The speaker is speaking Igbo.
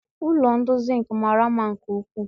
Ụlọ ndị Zinc mara mma nke ukwuu